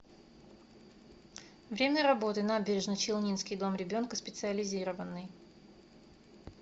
время работы набережно челнинский дом ребенка специализированный